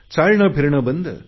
चालणे फिरणे बंद